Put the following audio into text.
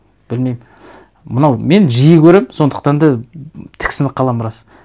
білмеймін мынау мен жиі көремін сондықтан да тіксініп қаламын рас